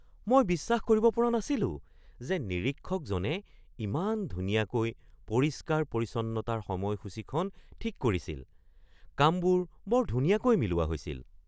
মই বিশ্বাস কৰিব পৰা নাছিলো যে নিৰীক্ষকজনে ইমান ধুনীয়াকৈ পৰিষ্কাৰ-পৰিচ্ছন্নতাৰ সময়সূচীখন ঠিক কৰিছিল! কামবোৰ বৰ ধুনীয়াকৈ মিলোৱা হৈছিল।